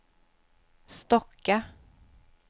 Stocka